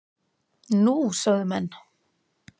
Nú? sögðu menn.